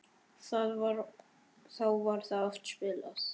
Þá var oft spilað.